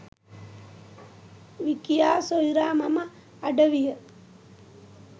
විකියා සොයුරා මෙම අඩවිය